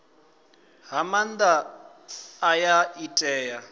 fha maanda aya i tea